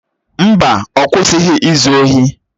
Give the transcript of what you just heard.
Mba, ọ kwụsịghị izu ohi